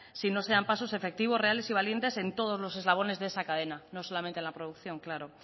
si no se dan pasos efectivos reales y valientes en todos los eslabones de esa cadena no solamente en la producción claro